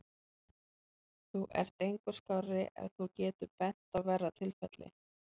Þú ert engu skárri ef þú getur bent á verra tilfelli.